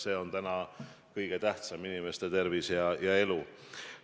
See on täna kõige tähtsam – inimeste tervis ja elu.